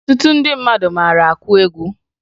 Ọtụtụ ndị mmadụ mara akụ egwu